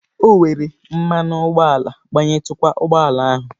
O were mmanụ ụgbọala gbayitukwa ụgbọ ala ahụ.